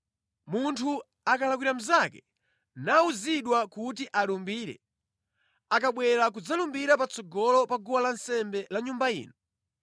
“Munthu akalakwira mnzake, nawuzidwa kuti alumbire, akabwera kudzalumbira patsogolo pa guwa lansembe la Nyumba ino,